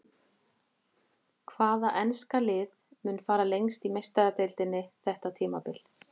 Hvaða enska lið mun fara lengst í Meistaradeildinni þetta tímabil?